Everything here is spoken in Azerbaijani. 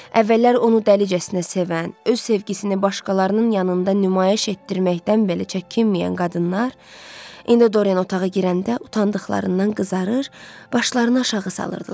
Əvvəllər onu dəlicəsinə sevən, öz sevgisini başqalarının yanında nümayiş etdirməkdən belə çəkinməyən qadınlar, indi Dorian otağa girəndə utandıqlarından qızarır, başlarını aşağı salırdılar.